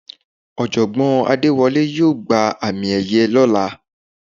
Ọ̀jọ̀gbọ́n Adéwọlé yóò gba àmì ẹ̀yẹ lọ́la.